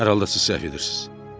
Hər halda səhv edirsiz.